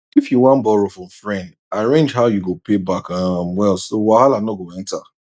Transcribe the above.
if you wan borrow from friend arrange how you go pay back um well so wahala no go enter